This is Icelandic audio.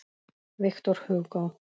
Victor Hugo